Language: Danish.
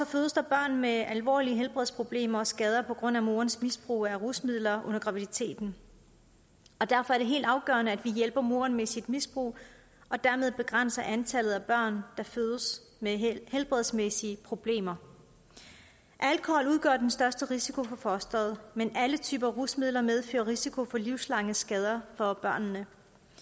fødes der børn med alvorlige helbredsproblemer og skader på grund af morens misbrug af rusmidler under graviditeten derfor er det helt afgørende at vi hjælper moren med sit misbrug og dermed begrænser antallet af børn der fødes med helbredsmæssige problemer alkohol udgør den største risiko for fostret men alle typer rusmidler medfører risiko for livslange skader for børnene